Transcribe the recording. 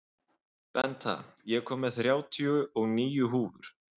Benta, ég kom með þrjátíu og níu húfur!